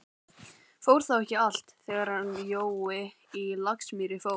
Fór þá ekki allt, þegar hann Jói á Laxamýri fór?